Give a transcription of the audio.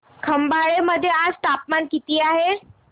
खंबाळे मध्ये आज तापमान किती आहे